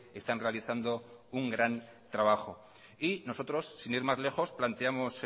están realizando un gran trabajo y nosotros sin ir más lejos planteamos